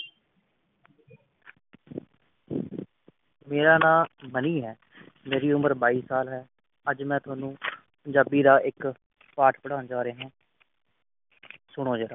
ਮੇਰਾ ਨਾਂ ਮਨੀ ਹੈ ਮੇਰੀ ਉਮਰ ਬਾਈ ਸਾਲ ਹੈ ਅਜ ਮੈਂ ਤੁਹਾਨੂੰ ਪੰਜਾਬੀ ਦਾ ਇਕ ਪਾਠ ਪੜ੍ਹਾਉਣ ਜਾ ਰਿਹਾ ਹਾਂ ਸੁਣੋ ਜਰਾ